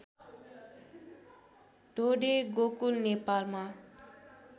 ढोडे गोकुल नेपालमा